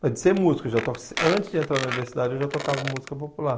Mas de ser músico, já toco antes de entrar na universidade eu já tocava música popular.